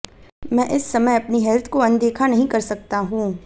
मैं इस समय अपनी हेल्थ को अनदेखा नहीं कर सकता हूं